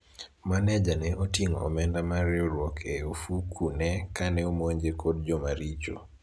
maneja ne oting'o omenda mar riwruok e ofuku ne kane omonje kod jomaricho